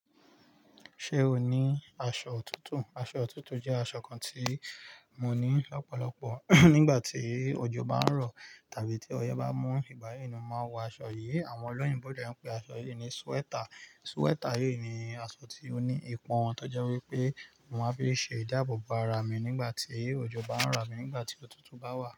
Ṣé o ní aṣọ òtútù? Aṣọ òtútù jẹ́ aṣọ kan tí mo ní lọ́pọ̀lọpọ̀ nígbà tí òjò bá ń rọ̀ tàbí tí ọyẹ́ bá mú. Ìgbà yí ni mo máa ń wọ aṣọ yìí. Àwọn ọlọ́yinbo de ń pe aṣọ yìí ní sweater. Sweater yìí ni aṣọ tí ó ní ipọn tọjẹ́ wípé mo máa ń fi ṣe ìdáàbòbò ara mi nígbà tí òjò bá ń rọ̀, abi nígbà tí òtútù bá wà.